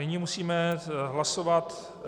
Nyní musíme hlasovat -